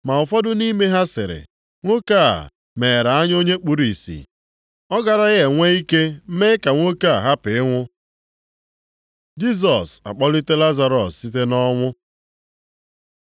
Ma ụfọdụ nʼime ha sịrị, “Nwoke a meghere anya onye kpuru ìsì, ọ garaghị enwe ike mee ka nwoke a hapụ ịnwụ?” Jisọs akpọlite Lazarọs site nʼọnwụ